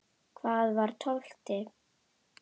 Hvað var tólfti?